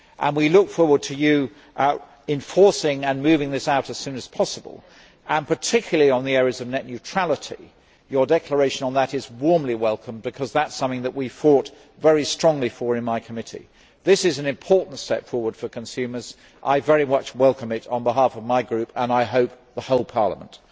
We look forward to it enforcing and moving this out as soon as possible, particularly in the area of net neutrality, your declaration on which is warmly welcomed, because that is something that we fought very strongly for in my committee. This is an important step forward for consumers. I very much welcome it on behalf of my group and, I hope, the whole Parliament.